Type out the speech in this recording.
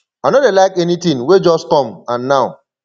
i no dey like anything wey just come and now